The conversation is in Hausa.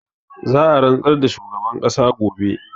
Za a rantsar da shugaban ƙasa gobe